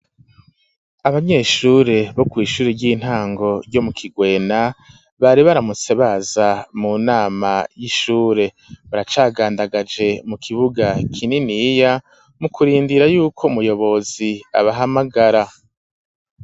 Abanyeshure bo kw'ishuri ry'intango ryo mu Kigwena, bari baramutse baza mu nama y'ishure, baracagandagaje mu kibuga kininiya mu kurindira y’uko umuyobozi abahamagara.